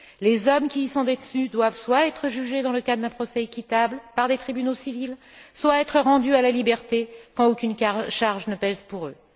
Les hommes qui y sont détenus doivent soit être jugés dans le cadre d'un procès équitable, par des tribunaux civils, soit être rendus à la liberté quand aucune charge ne pèse sur eux.